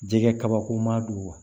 Jɛgɛ kabako ma don wa